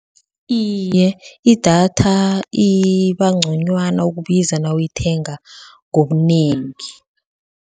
Iye, idatha iba ngconywana ukubiza nawuyithenga ngobunengi.